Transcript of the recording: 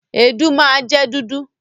Èédú máa jẹ dúdú.